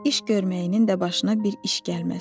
İş görməyinin də başına bir iş gəlməz.